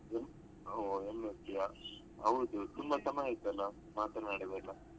ಏನು ಹೋ MSc ಯಾ ಹೌದು ತುಂಬಾ ಸಮಯ ಆಯ್ತಲ್ಲ ಮಾತನಾಡದೆಯೆಲ್ಲಾ?